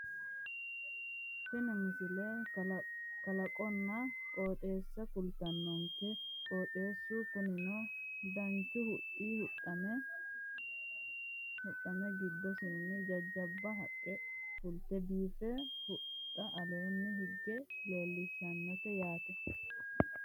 Tini misile. kalaqonna qoxeessa kultannonke qoxeessu kunino dancha huxxa huxxame giddosiinni jajjabba haqqe fulte biiffe huxxaho aleenni higge leelatannote yaate .